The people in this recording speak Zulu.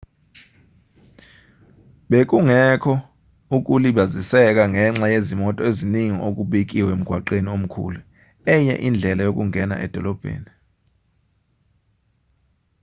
bekungekho ukulibaziseka ngenxa yezimoto eziningi okubikiwe emgwaqweni omkhulu enye indlela yokungena edolobheni